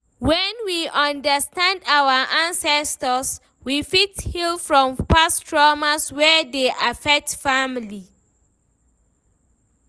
When we understand our ancestors we fit heal from past traumas wey dey affect family